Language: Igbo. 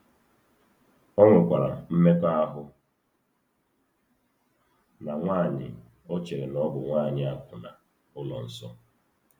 O nwekwara mmekọahụ na nwanyị o chere na ọ bụ nwanyị akwụna ụlọ nsọ.